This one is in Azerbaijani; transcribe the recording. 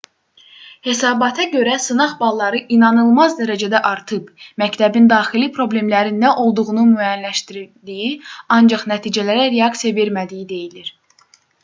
hesabata görə sınaq balları inanılmaz dərəcədə artıb məktəbin daxili problemlərin nə olduğunu müəyyənləşdirdiyi ancaq nəticələrə reaksiya vermədiyi deyilir